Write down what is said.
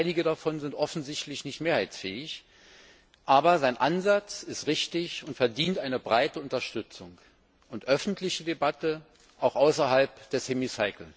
Einige davon sind offensichtlich nicht mehrheitsfähig, aber sein Ansatz ist richtig und verdient breite Unterstützung und eine öffentliche Debatte, auch außerhalb des Hemicycle.